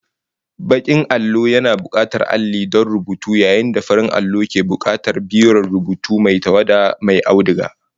Bakin allo yana bukatar alli don rubutu yayin da farin allo ke bukatar biron rubutu mai tawada mai auduga